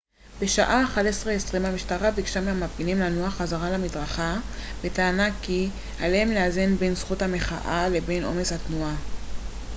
בשעה 11:20 המשטרה ביקשה מהמפגינים לנוע חזרה למדרכה בטענה כי עליהם לאזן בין זכות המחאה לבין עומס התנועה